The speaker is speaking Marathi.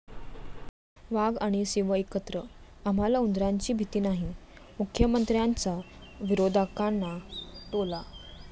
वाघ आणि सिंह एकत्र, आम्हाला उंदरांची भीती नाही, मुख्यमंत्र्यांचा विरोधकांना टोला